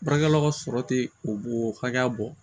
Baarakɛlaw ka sɔrɔ tɛ o hakɛya bɔ